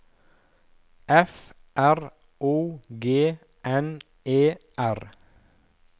F R O G N E R